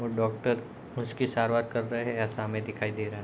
और डॉक्टर उसकी सारवार कर रहें ऐसा हमें दिखाई दे रहा है।